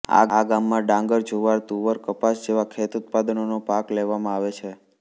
આ ગામમાં ડાંગર જુવાર તુવર કપાસ જેવાં ખેતઉત્પાદનોના પાક લેવામાં આવે છે